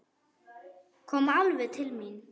Kom alveg til mín.